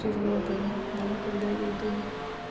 природы да когда я иду